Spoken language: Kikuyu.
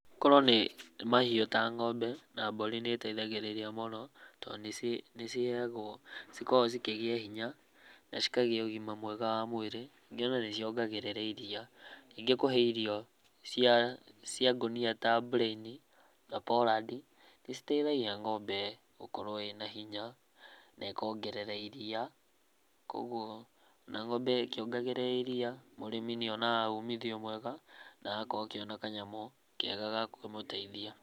Korwo nĩ mahiũ ta ng'ombe na mbũrĩ nĩiteithagĩrĩria mũno, tondũ nĩciheagwo cikoragwo cikĩgĩa hinya na cikagĩa ũgima mwega wa mwĩrĩ. Ningĩ ona nĩciongagĩrĩra iria. Ningĩ kũhe irio cia cia ngũnia ta bũreni, na poland i, nĩciteithagia ng'ombe gũkorwo ĩna hinya, na ĩkongerera iria, kuoguo, na ng'ombe ĩkĩongagĩrĩra iria, mũrĩmi nĩonaga umithio mwega, na agakorwo akĩona kanyamũ kega ga kũmũteithia.